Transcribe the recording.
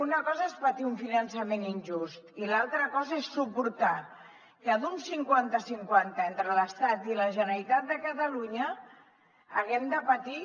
una cosa és patir un finançament injust i l’altra cosa és suportar que d’un cinquanta cinquanta entre l’estat i la generalitat de catalunya haguem de patir